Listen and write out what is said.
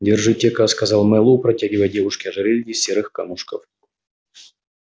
держите-ка сказал мэллоу протягивая девушке ожерелье из серых камушков